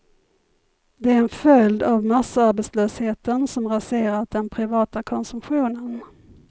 Det är en följd av massarbetslösheten som raserat den privata konsumtionen.